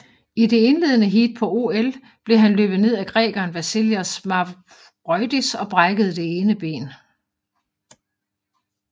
I det indledende heat på OL blev han løbet ned af grækeren Vasilios Mavroidis og brækkede det ene ben